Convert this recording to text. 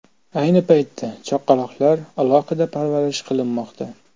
Ayni paytda chaqaloqlar alohida parvarish qilinmoqda.